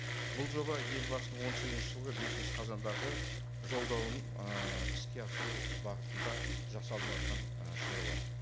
бұл жоба елбасының он сегізінші жылғы бесінші қазандағы жолдауын ы іске асыру бағытында жасалыныватқан ы шаруа